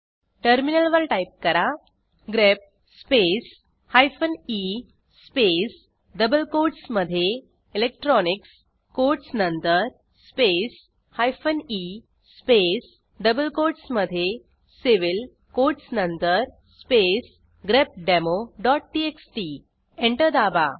टर्मिनलवर टाईप कराः grep space hyphen E space double कोटसमधे इलेक्ट्रॉनिक्स कोटस नंतर space hyphen E space double कोटसमधे सिव्हिल कोटस नंतर स्पेस grepdemoटीएक्सटी एंटर दाबा